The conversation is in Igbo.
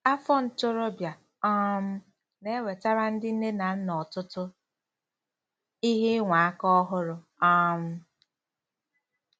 Afọ ntorobịa um na-ewetara ndị nne na nna ọtụtụ ihe ịnwa aka ọhụrụ um.